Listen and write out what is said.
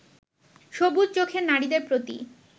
সবুজ চোখের নারীদের প্রতি